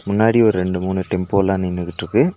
முன்னாடி ஒரு ரெண்டு மூனு டெம்போலா நின்னுகிட்ருக்கு.